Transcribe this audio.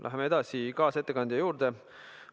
Läheme edasi kaasettekande juurde.